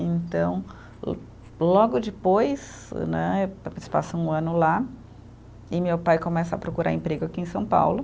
Então lo, logo depois, né, passa um ano lá, e meu pai começa a procurar emprego aqui em São Paulo.